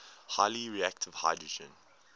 highly reactive hydrogen